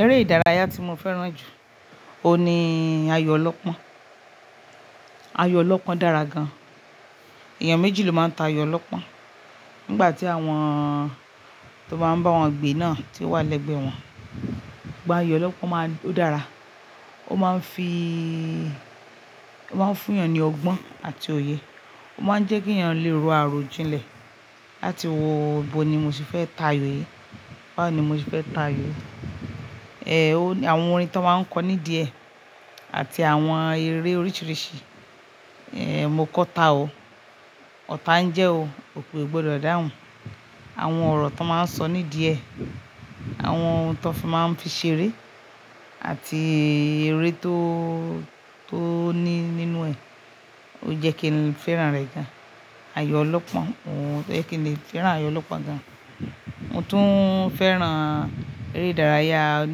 Eré ìdárayá tí mo fẹ́ràn jù, òun ni ayò ọlọ́pọ́n. Ayò ọlọ́pọ́n dára gan. Èèyàn méjì ló máa ń ta ayò ọlọ́pọ́n. Nígbà tí àwọn tó máa ń bá àwọn gbe náà ti ó wà lẹ́gbẹ̀ẹ́ wọn, ìgbà ayò ọlọ́pọ́n máa ń dára. Ó máa ń fi, ó máa ń fún èèyàn ní ọgbọ́n àti òye. Ó máa ń jẹ́ kí èèyàn lè ro àròjinlẹ̀. Láti wòó bo ni mo ṣe fẹ́ ta ayò yìí. Báwo ni mo sì fẹ́ ta ayò yìí. Èè, àwọn orin tó máa ń kọ nídìẹ́ àti àwọn eré oríṣiríṣi, èè, mo kọ ta o. Ọ̀tá ń jẹ́ o. Òkè o gbọdọ̀ dàhùn. Àwọn ọ̀rọ̀ tàn máa ń sọ nídìẹ́, àwọn ohun tàn fi máa ń fi ṣeré àti eré tó, tó ní nínú ẹ̀, ó jẹ́ kí n fẹ́ràn rẹ̀ gan. Ayò ọlọ́pọ́n, ó jẹ́ kí n lè fẹ́ràn ayò ọlọ́pọ́n gan. Mo tún fẹ́ràn eré ìdárayá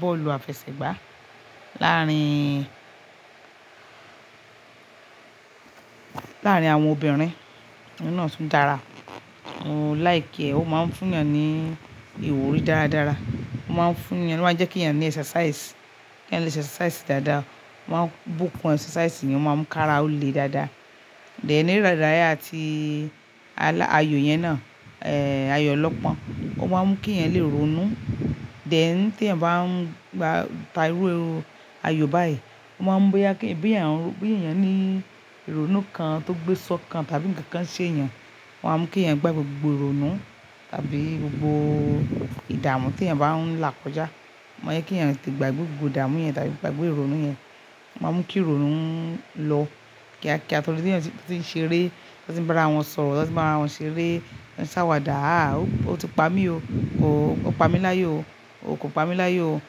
bọ́ọ̀lù àfẹsẹ̀gbá láàárín, láàárín àwọn obìnrin. Òun náà tún dára. Mo like ẹ. Ó máa ń fún èèyàn ní ìwúrí dáradára. Ó máa ń fún èèyàn, ó máa ń jẹ́ kí èèyàn ní exercise. Kí èèyàn lè exercise dáadáa. Ó máa ń bukun exercise ni ó máa ń mu kára ó le dáadáa. Then, eré ìdárayá tí alà, ayò yẹn náà, èè, ayò ọlọ́pọ́n. Ó máa ń mú kí èèyàn lè ronú. Then, tí èèyàn bá ń, gbà, ta irú ayò báyìí, ó máa ń mu boya kí, bi èèyàn, boya èèyàn ní ìrònú kan tó gbé sọ́kan tàbí ǹkan kan ṣe èèyàn. Ó máa ń mú kí èèyàn gba gbogbo ìrònú tàbí gbogbo ìdààmú tí èèyàn bá ń là kọjá. Ó máa ń jẹ́ kí èèyàn tí gbagbe gbogbo ìdààmú yẹn tàbí kò gbagbe ìrònú yẹn, ó máa ń mú kí ìrònú ń lọ kíákíá torí ti èèyàn tí ó sì ń ṣeré, tí wọ́n sì ń bá ara wọn sọ̀rọ̀, tí wọ́n sì ń bá ara wọn ṣeré, tí wọ́n sì ń ṣàwàdà, "à, o ti pa mí o. O pa mí láyò o. O kò pa mí láyò o.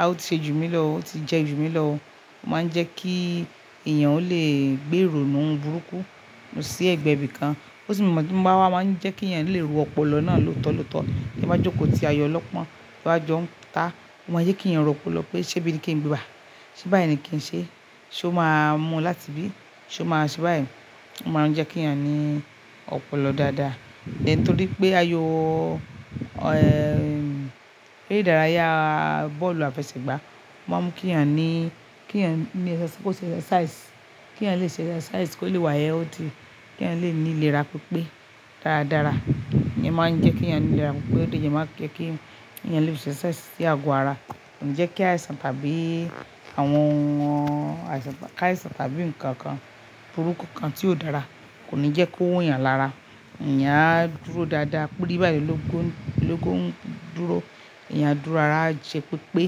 A, o ti ṣe jù mí lọ o. O ti jẹ jù mí lọ o." Ó máa ń jẹ́ kí èèyàn ó lè gbé ìrònú burúkú lọ sí ẹ̀gbẹ́ ibìkan. Ó sì máa ń, máa ń jẹ́ kí èèyàn lè ro ọpọlọ náà lóòótọ́ lóòótọ́. To ba jókòó ti ayò ọlọ́pọ́n tí wọ́n bá jọ ń ta. Ó máa ń jẹ́ kí èèyàn ro ọpọlọ pé ṣé bíi ní kí n gbà? Ṣé bá yẹn ni kí n ṣe? Ṣé ó máa mu látibí? Ṣé ó máa ṣe báyìí? Ó máa ń jẹ́ kí èèyàn ní ọpọlọ dáadáa. Then torí pé ayò, ẹ́, eré ìdárayá bọ́ọ̀lù àfẹsẹ̀gbá máa ń mú kí èèyàn ní, kí èèyàn ní ẹsẹ, kó ṣe exercise. Kí èèyàn lè ṣe exercise, kó lè wá healthy. Kí èèyàn lè ní ìlera pípé dáradára. Ìyẹn máa ń jẹ́ kí èèyàn ní ìlera pípé, pé ó lè jẹ́ máa ń jẹ́ kí èèyàn lè ṣe exercise sí àgọ́ ara. Kò ní jẹ́ kí àìsàn tàbí àwọn àìsàn, ká àìsàn tàbí nǹkan kan burúkú kan tí ó dára. Kò ní jẹ́ kó hun èèyàn lára. Ìyẹn á dúró dáadáa. Parí báyìí lóko, lóko ń dúró. Ìyẹn á dúró dáadáa. A jẹ́ pé pé bí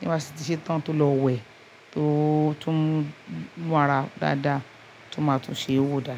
wọ́n bá sì ti ṣe tán tó lọ wẹ̀, tó, tó ń mú ara dáadáa, tó máa tún ṣe ó dára.